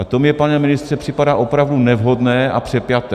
A to mně, pane ministře, připadá opravdu nevhodné a přepjaté.